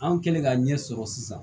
An kɛlen ka ɲɛ sɔrɔ sisan